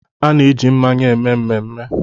A na-eji mmanya eme mmemme